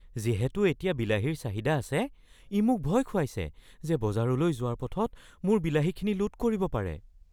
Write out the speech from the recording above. যিহেতু এতিয়া বিলাহীৰ চাহিদা আছে, ই মোক ভয় খুৱাইছে যে বজাৰলৈ যোৱাৰ পথত মোৰ বিলাহীখিনি লুট কৰিব পাৰে।